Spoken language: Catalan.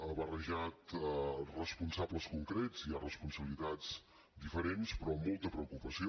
ha barrejat responsables concrets hi ha responsabilitats diferents però molta preocupació